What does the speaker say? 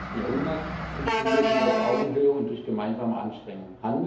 21. Jahrhundert funktioniert aber nur auf Augenhöhe und durch gemeinsame Anstrengung.